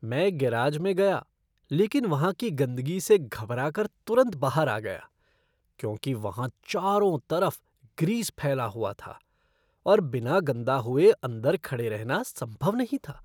मैं गैराज में गया लेकिन वहाँ की गंदगी से घबरा कर तुरंत बाहर आ गया क्योंकि वहाँ चारों तरफ ग्रीस फैला हुआ था और बिना गंदा हुए अंदर खड़े रहना संभव नहीं था।